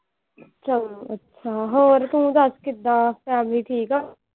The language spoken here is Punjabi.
ਹਮ ਹੋਰ ਤੂੰ ਦੱਸ ਕਿੱਦਾਂ family ਠੀਕ ਆ।